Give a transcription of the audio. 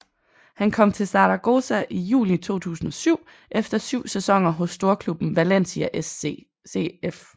Han kom til Zaragoza i juli 2007 efter syv sæsoner hos storklubben Valencia CF